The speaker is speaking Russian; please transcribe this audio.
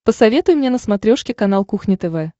посоветуй мне на смотрешке канал кухня тв